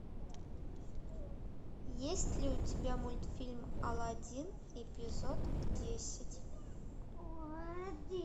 есть ли у тебя мультфильм алладин эпизод десять